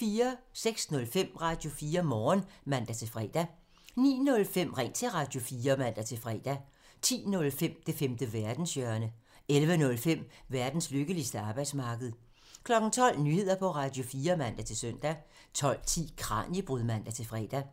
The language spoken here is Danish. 06:05: Radio4 Morgen (man-fre) 09:05: Ring til Radio4 (man-fre) 10:05: Det femte verdenshjørne (man) 11:05: Verdens lykkeligste arbejdsmarked (man) 12:00: Nyheder på Radio4 (man-søn) 12:10: Kraniebrud (man-fre)